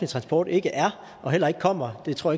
transport ikke er og heller ikke kommer det tror